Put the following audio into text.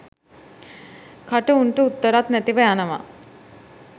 කට උන්ට උත්තරත් නැතිව යනවා